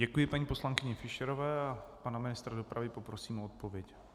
Děkuji paní poslankyni Fischerové a pana ministra dopravy poprosím o odpověď.